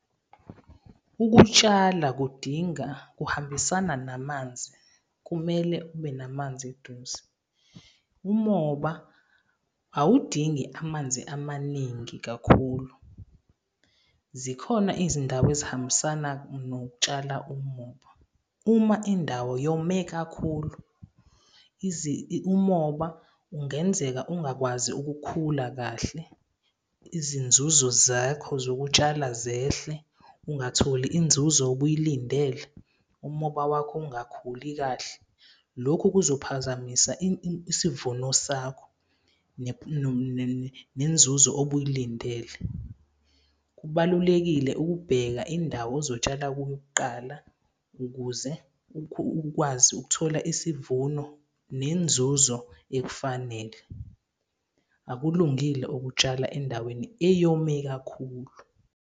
Ukutshala kudinga, kuhambisana namanzi, kumele ube namanzi eduze. Umoba awudingi amanzi amaningi kakhulu. Zikhona izindawo ezihambisana nokutshala umoba. Uma indawo yome kakhulu umoba ungenzeka, ungakwazi ukukhula kahle. Izinzuzo zakho zokutshala zehle, ungatholi inzuzo obuyilindele umoba wakho ungakhuli kahle, lokhu kuzophazamisa isivuno sakho nenzuzo obuyilindele. Kubalulekile ukubheka indawo ozotshala kuyo kuqala ukuze ukwazi ukuthola isivuno nenzuzo ekufanele. Akulungile ukutshala endaweni eyome kakhulu.